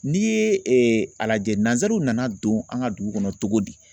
N'i ye a lajɛ nansaraw nana don an ka dugu kɔnɔ cogo di